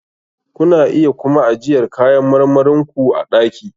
Kuna iya kuma ajiyar kayan marmarin ku a ɗaki.